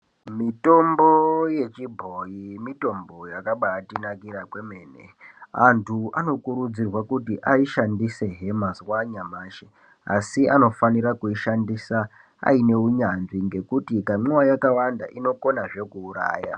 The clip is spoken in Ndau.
Mitombo yechibhoyi mitombo yakabaatinakira kwemene anthu anokurudzirwe kuti aishandise mazuwa anyamashi asi anofanira kuishandisa aine unyanzvi ngekuti ikamwiwa yakawanda inokonazve kuuraya.